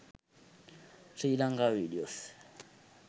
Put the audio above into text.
sri lanka videos